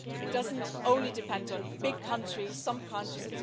It doesn't only depend on big countries, some countries